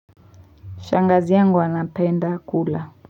Shangazi yangu wanapenda kula.